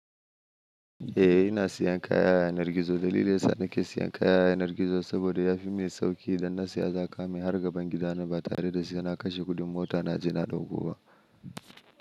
Eh, ina siyan kaya a yanar gizo. Dalilin da yasa nake siyan kaya a yanar gizo saboda yafi min sauƙi idan na saya za a kawo min har gaban gida na ba tare da sai na kashe kuɗin mota na je na ɗauko ba.